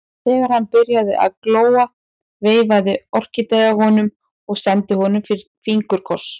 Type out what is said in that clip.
Þegar hann byrjaði að glóa veifaði Orkídea honum og sendi honum fingurkoss.